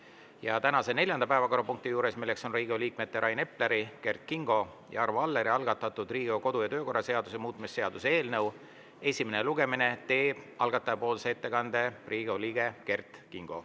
Ja tänases neljandas päevakorrapunktis, milleks on Riigikogu liikmete Rain Epleri, Kert Kingo ja Arvo Alleri algatatud Riigikogu kodu‑ ja töökorra seaduse muutmise seaduse eelnõu esimene lugemine, teeb algatajapoolse ettekande Riigikogu liige Kert Kingo.